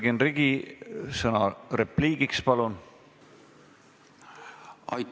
Jürgen Ligi, sõna repliigiks, palun!